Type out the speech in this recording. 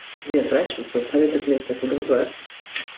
сізден сұрайыншы совет өкіметте тудыңыз ғой иә